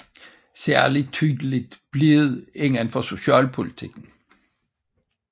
Særlig tydeligt blev det inden for socialpolitikken